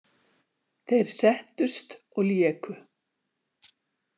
Þeir settust og léku.